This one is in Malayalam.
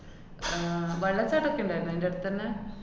ആഹ് വെള്ളച്ചാട്ടോക്കെണ്ടാര്ന്ന് അയിന്‍റടത്തന്നെ.